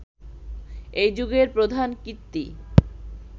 এই যুগের প্রধান কীর্তি